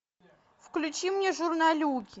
включи мне журналюги